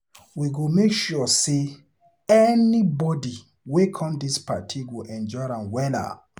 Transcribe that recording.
We go make sure sey anybodi wey come dis party go enjoy wella.